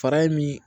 Fara in mi